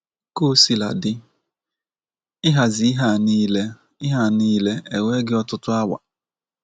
Kaosiladị, ịhazi ihe a nile ihe a nile ewee gị ọtụtụ awa!